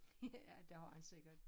Ja det har han sikkert